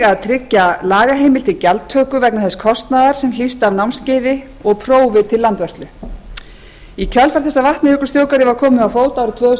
og tryggja lagaheimild til gjaldtöku vegna þess kostnaðar er hlýst af námskeiði og prófi til landvörslu í kjölfar þess að vatnajökulsþjóðgarði var komið á fót árið tvö þúsund og